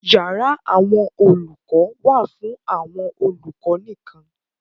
Yàrá àwọn olùkọ wà fún àwọn olùkọ nìkan.